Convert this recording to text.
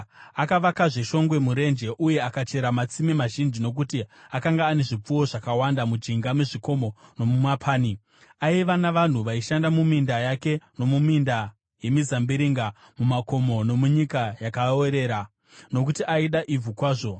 Akavakazve shongwe murenje uye akachera matsime mazhinji, nokuti akanga ane zvipfuwo zvakawanda mujinga mezvikomo nomumapani. Aiva navanhu vaishanda muminda yake nomuminda yemizambiringa mumakomo nomunyika yakaorera, nokuti aida ivhu kwazvo.